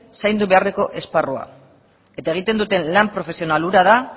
zaindu beharreko esparrua eta egiten dute lan profesional hura da